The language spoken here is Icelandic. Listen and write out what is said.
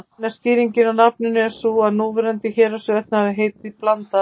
Eina skýringin á nafninu er sú að núverandi Héraðsvötn hafi heitið Blanda.